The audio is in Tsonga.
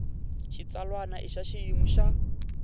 xitsalwana i ya xiyimo xa